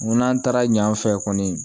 N ko n'an taara ɲ'an fɛ kɔni